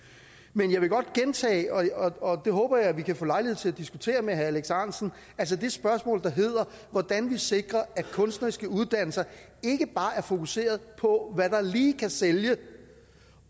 men jeg vil godt gentage det og jeg håber at vi kan få lejlighed til at diskutere det med herre alex ahrendtsen altså det spørgsmål der hedder hvordan vi sikrer at kunstneriske uddannelser ikke bare er fokuseret på hvad der lige kan sælge